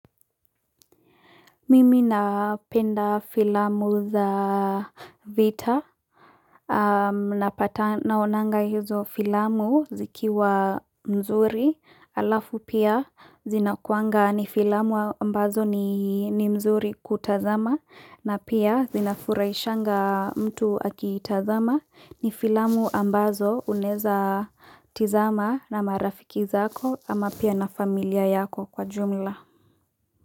Mimi napenda filamu za vita, napata naonanga hizo filamu zikiwa nzuri, alafu pia zina kuanga ni filamu ambazo ni nzuri kutazama, na pia zina furaishanga mtu aki tazama ni filamu ambazo unaeza tizama na marafiki zako ama pia na familia yako kwa jumla.